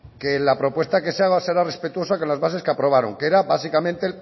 que la propuesta que se haga será respetuosa con las bases que aprobaron que era básicamente